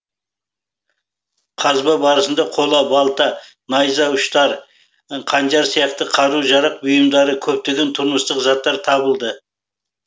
қазба барысында қола балта найза ұштары қанжар сияқты қару жарақ бұйымдары көптеген тұрмыстық заттар табылды